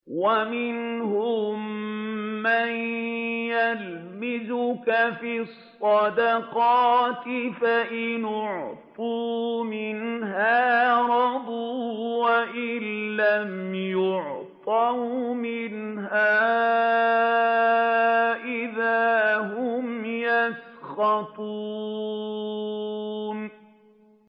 وَمِنْهُم مَّن يَلْمِزُكَ فِي الصَّدَقَاتِ فَإِنْ أُعْطُوا مِنْهَا رَضُوا وَإِن لَّمْ يُعْطَوْا مِنْهَا إِذَا هُمْ يَسْخَطُونَ